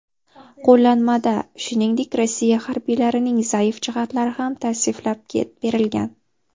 Qo‘llanmada, shuningdek, Rossiya harbiylarining zaif jihatlari ham tavsiflab berilgan.